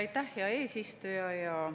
Aitäh, hea eesistuja!